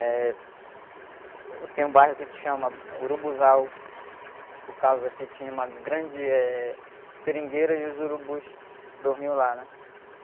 Eh... Tem um bairro aqui que se chama Urubuzal, por causa que tinha uma grande, eh, seringueira e os urubus dormiam lá, né?